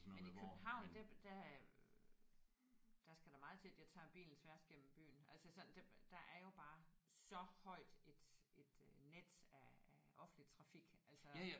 Men i København det der øh der skal der meget til at jeg tager bilen tværs gennem byen. Altså sådan der er jo bare så højt et net af af offentlig trafik altså